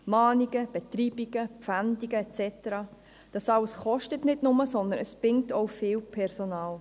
Mahnungen, Betreibungen, Pfändungen et cetera kosten nicht nur, sondern binden auch viel Personal.